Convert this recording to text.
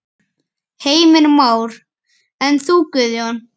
Heimir Már: En þú Guðjón?